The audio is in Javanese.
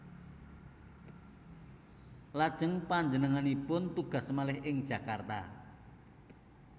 Lajeng panjenenganipun tugas malih ing Jakarta